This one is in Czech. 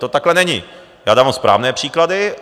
To takhle není, já dávám správné příklady.